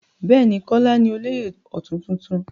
Bẹ́ẹ̀ ni, Kọ́lá ní olóyè ọ̀tún tuntun.